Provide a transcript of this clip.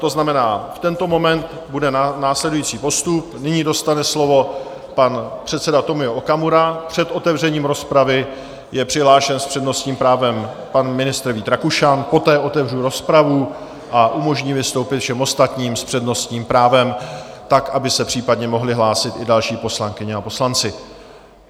To znamená, v tento moment bude následující postup: nyní dostane slovo pan předseda Tomio Okamura, před otevřením rozpravy je přihlášen s přednostním právem pan ministr Vít Rakušan, poté otevřu rozpravu a umožním vystoupit všem ostatním s přednostním právem tak, aby se případně mohli hlásit i další poslankyně a poslanci.